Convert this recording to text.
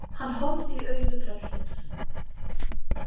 Hann horfði í augu tröllsins.